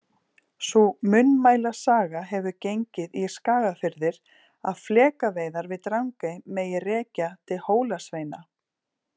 Sú munnmælasaga hefur gengið í Skagafirði að flekaveiðar við Drangey megi rekja til Hólasveina.